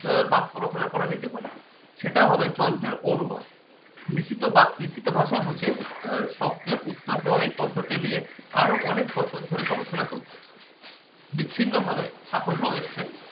আহ বাক্য রচনা করা যেতে পারে। সেটা হবে যন্ত্রের অনুবাদ। লিখিত বাত লিখিত ভাষা বোঝে আহ শব্দের উত্তর ধারি পদ্ধতি নিয়ে আরো অনেক বছর ধরে গবেষণা চলছে। বিছিন্ন ভাবে সাফল্য এসছে